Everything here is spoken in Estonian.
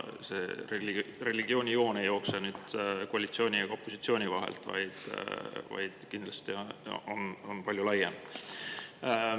See joon ei jookse koalitsiooni ja opositsiooni vahelt, vaid kindlasti on see palju laiem.